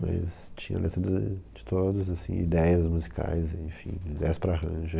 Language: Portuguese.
Mas tinha letra de de todos, assim, ideias musicais, enfim, ideias para arranjo.